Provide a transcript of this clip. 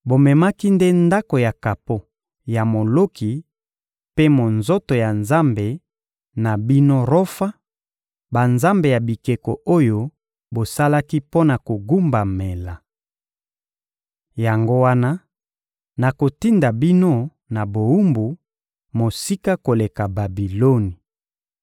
Bomemaki nde ndako ya kapo ya Moloki mpe monzoto ya nzambe na bino Rofa, banzambe ya bikeko oyo bosalaki mpo na kogumbamela! Yango wana, nakotinda bino na bowumbu, mosika koleka Babiloni!»